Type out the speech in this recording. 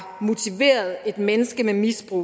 motiveret et menneske med misbrug